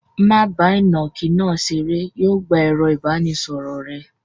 Má bá ìnàkí náà ṣeré. Yóò gbà ẹ̀rọ-ìbánisọ̀rọ̀ rẹ.